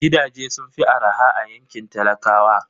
Gidaje sun fi araha a yankin talakawa